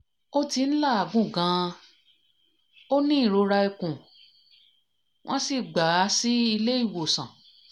ó ti ń làágùn gan-an ó ní ìrora ikùn wọ́n sì gbà á sílé ìwòsàn